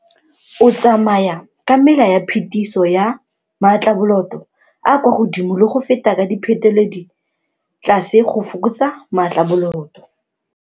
O tsamaya ka mela ya phetiso ya maatlaboloto a a kwa godimo le go feta ka diphetoledi tlase go fokotsa maatlaboloto.